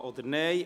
Ja oder Nein.